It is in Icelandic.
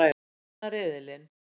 Vinna riðilinn!